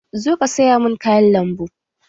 Zo ka saya mun kayan lambu!